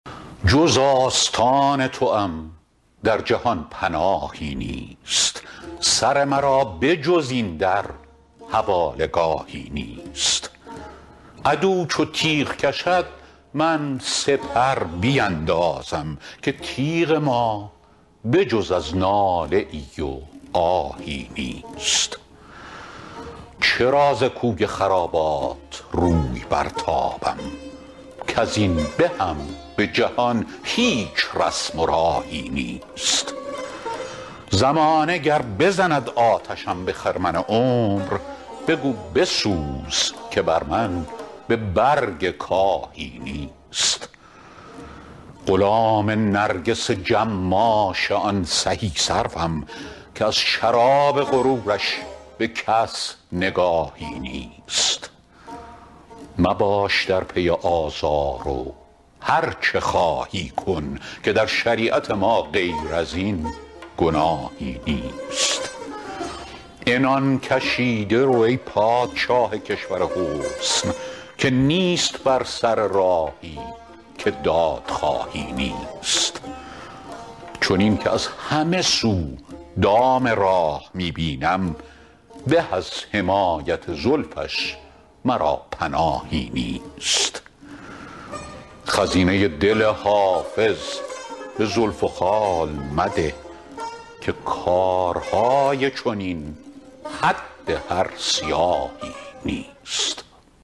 جز آستان توام در جهان پناهی نیست سر مرا به جز این در حواله گاهی نیست عدو چو تیغ کشد من سپر بیندازم که تیغ ما به جز از ناله ای و آهی نیست چرا ز کوی خرابات روی برتابم کز این بهم به جهان هیچ رسم و راهی نیست زمانه گر بزند آتشم به خرمن عمر بگو بسوز که بر من به برگ کاهی نیست غلام نرگس جماش آن سهی سروم که از شراب غرورش به کس نگاهی نیست مباش در پی آزار و هرچه خواهی کن که در شریعت ما غیر از این گناهی نیست عنان کشیده رو ای پادشاه کشور حسن که نیست بر سر راهی که دادخواهی نیست چنین که از همه سو دام راه می بینم به از حمایت زلفش مرا پناهی نیست خزینه دل حافظ به زلف و خال مده که کارهای چنین حد هر سیاهی نیست